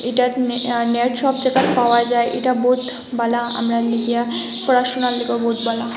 একটা নে আ নেট শপ দেখাত পাওয়া যায় এটা বোথ বালা আমরা লিগিয়া পড়াশুনার লাগে বোথ বালা।